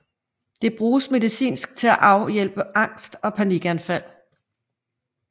Det bruges medicinsk til at afhjælpe angst og panikanfald